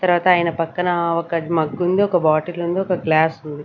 తర్వాత ఆయన పక్కనా ఒక మగ్ ఉంది ఒక బాటిల్ ఉంది ఒక గ్లాస్ ఉంది.